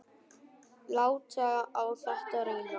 Láta á þetta reyna.